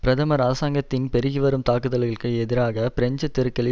பிரதமர் அரசாங்கத்தின் பெருகிவரும் தாக்குதல்களுக்கு எதிராக பிரெஞ்சு தெருக்களில்